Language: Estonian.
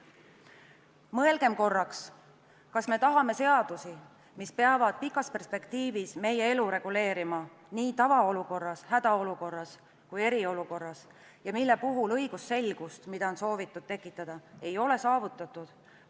Mõelgem korraks, kas me tahame seadusi, mis peavad pikas perspektiivis meie elu reguleerima nii tavaolukorras, hädaolukorras kui eriolukorras, aga mille puhul õigusselgust, mida on soovitud tekitada, ei ole saavutatud.